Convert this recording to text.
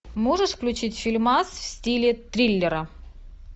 можешь включить фильмас в стиле триллера